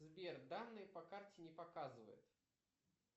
сбер данные по карте не показывает